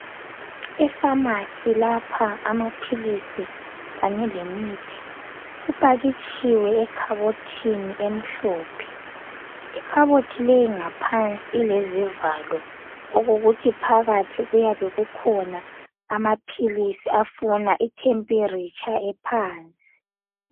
Ifamasi lapha amaphilisi kanye lemithi, ipakitshiwe ekhabothini emhlophe, ikhabothi le ngaphansi ilezivalo okokuthi phakathi kuyabe kukhona amaphilisi afuna itemperature ephansi.